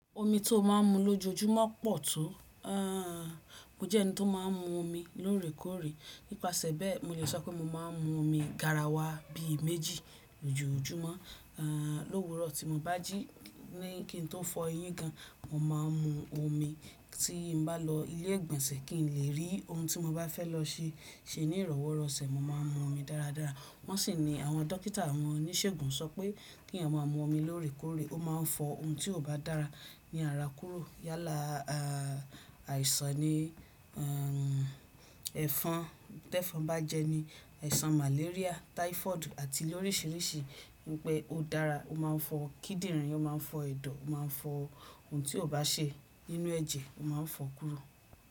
Omi tí ó máa ń mu lójoojúmọ́ pọ̀ tó. Mo jẹ́ ẹni tí ó máa ń mu omi lóòrèkóòrè. Nípasẹ̀ bẹ́ẹ̀, mo lè sọ pé mo máa ń mu omi garawa bi méjì lójoojúmọ́. Lówuró tí mo bá jí ní kí n tó fọ eyín gan, mo máa ń mu omi. Tí mo bá lọ ilé ìgbọ̀nsẹ̀ kí n lè rí ohun tí mo bá fẹ́ lọ ṣe ní ìrọ́wóró ọ̀sẹ̀, mo máa ń mu omi dáradára. Wọ́n sì ní àwọn dókítà àwọn oníṣègùn sọ pé kí àwọn ọmọ mu omi lóòrèkóòrè, ó máa ń fọ ohun tí kò bá dára ní ara kúrò. Yálà àìsàn ni ẹ̀fọn bá jẹ́ ni, àìsàn màléríà, táífọ́ọ̀dù àti lórisìíríṣìí. Wi pé ó dára, ó máa ń fọ́ kíndìnrín, ó máa ń fọ ẹ̀dọ̀, ó máa ń fọ ohun tí ó bá ṣe nínú ẹ̀jẹ̀, ó máa ń fọ́ kúrò.